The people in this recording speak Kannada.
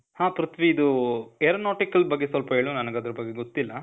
ಹಾ ಪ್ರಿಥ್ವಿ, ಇದೂ, aeronautical ಬಗ್ಗೆ ಸ್ವಲ್ಪ ಹೇಳು. ನನಿಗ್ ಅದರ್ ಬಗ್ಗೆ ಗೊತ್ತಿಲ್ಲ.